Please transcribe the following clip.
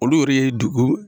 Olu yɛrɛ ye dugu